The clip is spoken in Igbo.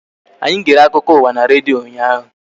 Anyi gere akụkọ ụwa n' redio ụnyaahụ